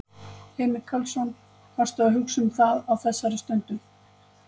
Heimir Karlsson: Varstu að hugsa um það þá á þeirri stundu?